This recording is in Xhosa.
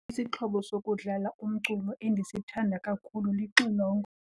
Isixhobo sokudlala umculo endisithanda kakhulu lixilongo.